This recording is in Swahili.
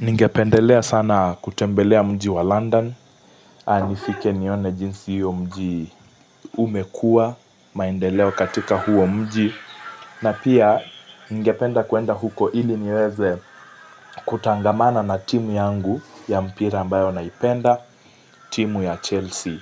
Ningependelea sana kutembelea mji wa London nifike nione jinsi hiyo mji umekua maendeleo katika huo mji na pia ningependa kuenda huko ili niweze kutangamana na timu yangu ya mpira ambayo naipenda timu ya Chelsea